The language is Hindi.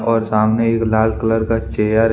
और सामने एक लाल कलर का चेयर हैं।